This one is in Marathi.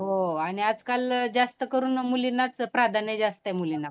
हो आणि आजकाल जास्त करून मुलींनाच प्राधान्य जास्त आहे मुलींना.